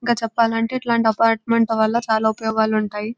ఇంకా చెప్పాలంటే ఇట్లాంటి అపార్ట్మెంట్ల వల్ల చాలా ఉపయోగాలు ఉంటాయి.